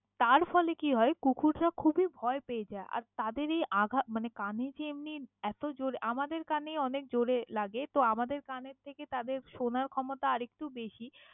তার ফলে কি হয় কুকুররা খুবী ভয় পেয়ে যায়, আর তাদের এই আঘাত মানে কানে যে এমনি এত জোর আমাদের কানেই অনেক জোরে লাগে তো আমাদের কানের থেকে তাদের শোনার ক্ষমতা আরেক্তু বেশী।